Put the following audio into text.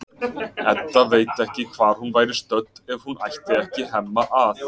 Edda veit ekki hvar hún væri stödd ef hún ætti ekki Hemma að.